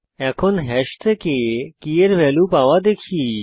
এখন হ্যাশ থেকে কী এর ভ্যালু পাওয়া দেখি